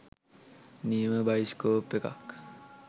නියම බයිස්කෝප් එකක්.